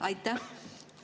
Aitäh!